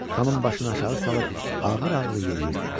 Xanım başını aşağı salıb ağır-ağır yeriyirdi.